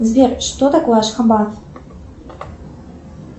сбер что такое ашхабад